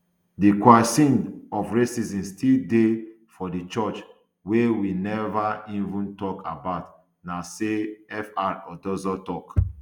di kwesion of racism still dey for di church wey we neva even tok about na say fr odozor tok